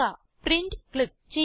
print click ചെയ്യുക